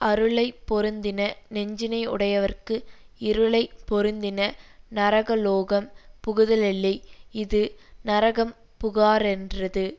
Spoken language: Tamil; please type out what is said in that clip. அருளை பொருந்தின நெஞ்சினையுடைவர்க்கு இருளை பொருந்தின நரகலோகம் புகுதலில்லை இது நரகம் புகாரென்றது